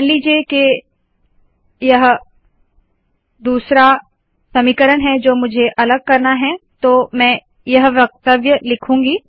मान लीजिए के यह दूसरा समीकरण है जो मुझे अलग करना है तो मैं यह वक्तव्य लिखूंगी